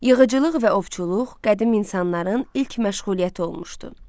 Yığıcılıq və ovçuluq qədim insanların ilk məşğuliyyəti olmuşdu.